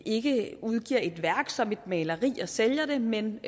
ikke udgiver et værk som et maleri og sælger det men